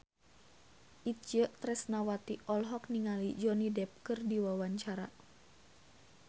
Itje Tresnawati olohok ningali Johnny Depp keur diwawancara